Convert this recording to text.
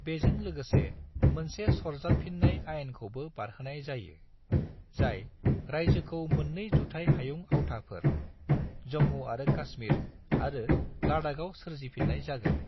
बेजों लोगोसे, मोनसे सरजाबफिन्नाय आइनखौबो बारहोनाय जायो, जाय रायजोखौ मोन्नै जुथाइ हायुं आवथाफोर, जम्मु आरो कासमिर आरो लद्दाखआव सोरजिफिन्नाय जागोन।